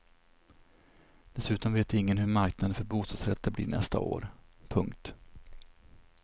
Dessutom vet ingen hur marknaden för bostadsrätter blir nästa år. punkt